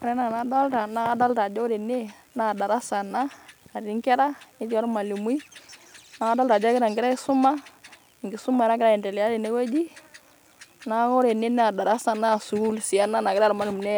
Ore enaa enadolta naa darasa ena natii inkera netii ormwalimui naa kadolta ajo egira inkera aisuma ,enkisuma nagira aendelea tene wueji . niaku ore ene wueji naa darasa naa sukuul nagira irmwalimuni